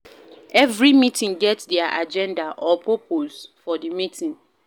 Every meeting get their agenda or purpose for di meeting